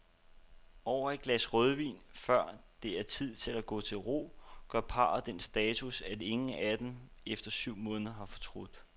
Over et glas rødvin, før det er tid at gå til ro, gør parret den status, at ingen af dem efter syv måneder har fortrudt.